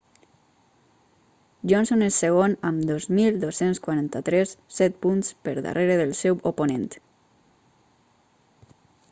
johnson és segon amb 2.243 set punts per darrere del seu oponent